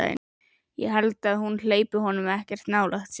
Ég held að hún hleypi honum ekkert nálægt sér.